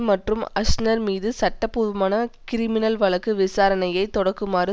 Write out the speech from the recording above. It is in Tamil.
மற்றும் அஸ்னர் மீது சட்டபூர்வமான கிரிமினல் வழக்கு விசாரணையை தொடக்குமாறு